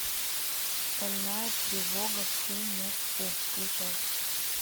стальная тревога фумоффу включай